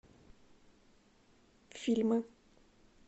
фильмы